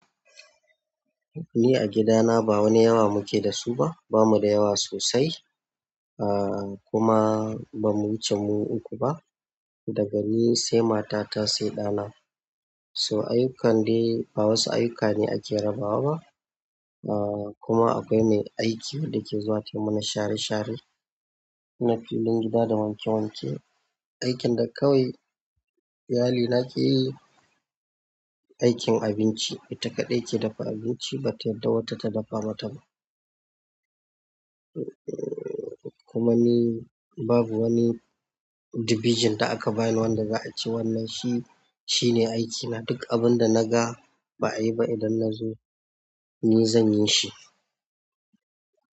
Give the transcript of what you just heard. Ni a gidana ba wani yawa muke da su ba. Ba mu da yawa sosai a kuma ba mu wuce mu uku ba. Dagani, sai matata, sai ɗa na. To ayukan dai ba wasu ayyuka ne ake raba wa ba a kuma akwai mai aiki wanda ke zuwa tai mana share share. Na filin gida, da wanke wanke aikin da kawai iyali na ke yi, aikin abinci. Ita takadai ke dafa abinci ba ta yarda wata ta dafa ba ta. Kuma ni babu wani dibijin da aka bani wanda aka ce wannan shi, shi ne aikina. Duk abin da na ga ba ayi ba idan na zo ni zan yi shi.